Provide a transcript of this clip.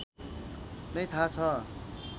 नै थाहा छ